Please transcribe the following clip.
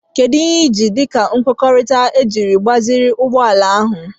Kedu ihe ị ji dị ka ihe nkwekọrịta iji gbaziri ụgbọ ala a?